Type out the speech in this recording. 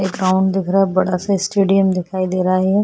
ये ग्राउंड दिख रहा है बड़ा-सा स्टेडियम दिखाई दे रहा है ये --